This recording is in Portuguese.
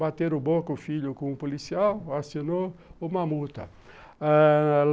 Bateram boca o filho com o policial, assinou uma multa